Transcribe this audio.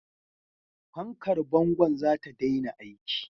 Fankar bangon za ta daina aiki.